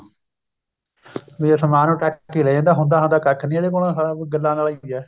ਵੀ ਅਸਮਾਨ ਨੂੰ ਟਾਕੀ ਲਾਈ ਜਾਂਦਾ ਹੁੰਦਾ ਕੱਖ਼ ਨਹੀਂ ਇਹਦੇ ਕੋਲੋਂ ਸਾਲਾਂ ਉਹੀ ਗੱਲਾਂ ਆਲਾ ਹੀ ਏ